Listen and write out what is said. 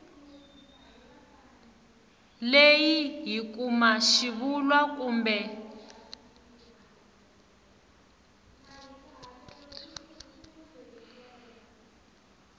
leyi hi kuma xivulwa kumbe